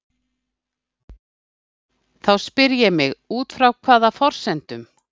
Þá spyr ég mig: Út frá hvaða forsendum?